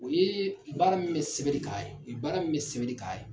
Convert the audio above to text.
O ye baara min bɛ sebɛnni ka ye o ye baara min sɛbɛnbɛnni ka ye .